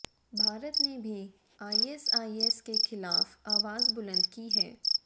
भारत ने भी आईएसआईएस के खिलाफ आवाज बुलंद की है